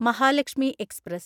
Mahalakshmi express